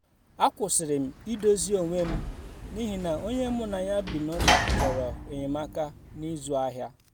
a kwụsịrị m idozi onwe m n’ihi na onye mu na ya bi n'ụlọ chọrọ enyemaka na ịzụ ahịa